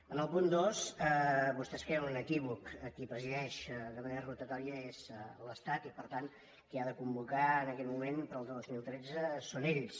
en el punt dos vostès creen un equívoc qui presideix de manera rotatòria és l’estat i per tant qui ha de convocar en aquest moment per al dos mil tretze són ells